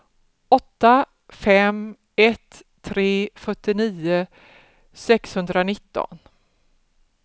åtta fem ett tre fyrtionio sexhundranitton